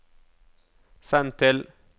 send til